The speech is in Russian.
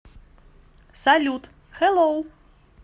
салют хэлоу